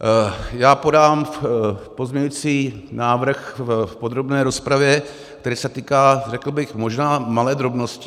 Já podám pozměňovací návrh v podrobné rozpravě, který se týká, řekl bych, možná malé drobnosti.